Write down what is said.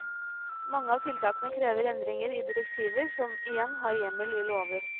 Mange av tiltakene krever endringer i direktiver som igjen har hjemmel i lover.